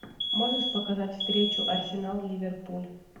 можешь показать встречу арсенал ливерпуль